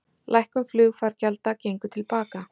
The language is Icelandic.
Lækkun flugfargjalda gengur til baka